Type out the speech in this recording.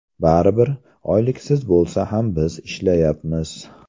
Baribir, oyliksiz bo‘lsa ham biz ishlayapmiz.